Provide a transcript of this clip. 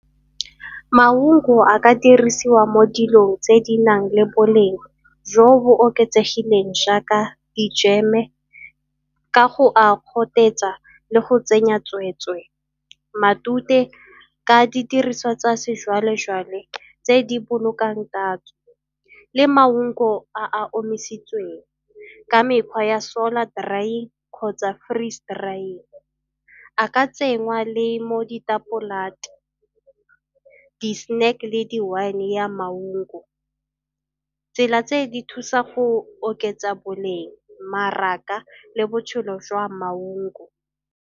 Maungo a ka dirisiwa mo dilong tse di nang le boleng jo bo oketsegileng jaaka dijeme ka go a gotetsa le go tsenya tsweetswe matute ka didiriswa tsa sejwale-jwale tse di bolokang tatso. Le maungo a a omisitsweng ka mekgwa ya solar drying kgotsa freeze drying. A ka tsenngwa le mo , di-snack le di-wine ya maungo. Tsela tse di thusa go oketsa boleng, mmaraka le botshelo jwa maungo.